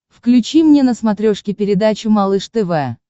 включи мне на смотрешке передачу малыш тв